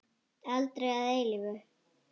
Aldrei að eilífu.